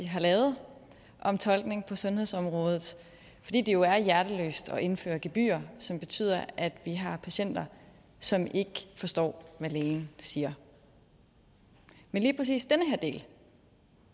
har lavet om tolkning på sundhedsområdet fordi det jo er hjerteløst at indføre gebyrer som betyder at vi har patienter som ikke forstår hvad lægen siger men lige præcis den her del